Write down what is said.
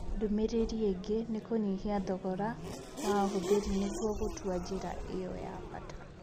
Ndũmĩrĩri ingĩ nĩ kũnyihia thogora wa ahũthĩri nĩguo gũtua njĩra ĩyo ya bata.